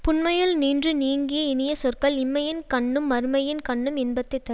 புன்மையுள் நின்று நீங்கிய இனிய சொற்கள் இம்மையின் கண்ணும் மறுமையின் கண்ணும் இன்பத்தை தர்